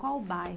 Qual o bairro?